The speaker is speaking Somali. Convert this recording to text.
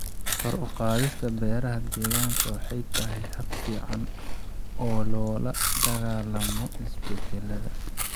Kor u qaadida beeraha deegaanka waxay tahay hab fiican oo loola dagaallamo isbedelada.